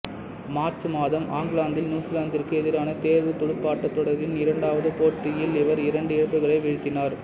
March மாதம் ஆக்லாந்தில் நியூசிலாந்திற்கு எதிரான தேர்வுத் துடுப்பாட்டத் தொடரின் இரண்டாவது போட்டியில் இவர் இரண்டு இழப்புகளை வீழ்த்தினார்